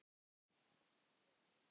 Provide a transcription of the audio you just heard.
Ragna Björg.